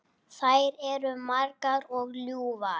Þær eru margar og ljúfar.